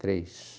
Três.